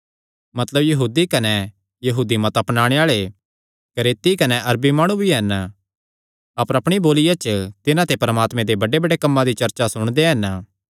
मतलब यहूदी कने यहूदी मत अपनाणे आल़े क्रेती कने अरबी माणु भी हन अपर अपणीअपणी बोलिया च तिन्हां ते परमात्मे दे बड्डेबड्डे कम्मां दी चर्चा सुणदे हन